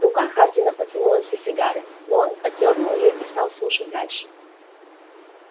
рука хардина потянулась за сигарой но он отдёрнул её и стал слушать дальше